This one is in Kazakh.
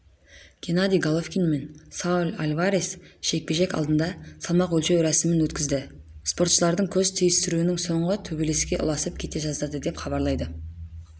генадий головкин мен сауль альварес жекпе-жек алдында салмақ өлшеу рәсімін өткізді спортшылардың көз түйістіруінің соңы төбелеске ұласып кете жаздады деп хабарлайды